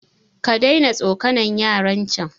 kadaina tsokanan yaran can